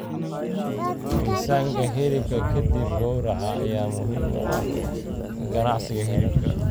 Miisaanka hilibka ka dib gowraca ayaa muhiim u ah ka ganacsiga hilibka.